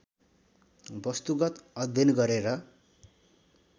वस्तुगत अध्ययन गरेर